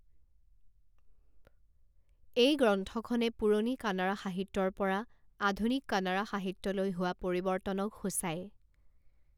এই গ্ৰন্থখনে পুৰণি কানাড়া সাহিত্যৰ পৰা আধুনিক কানাড়া সাহিত্যলৈ হোৱা পৰিৱৰ্তনক সূচায়।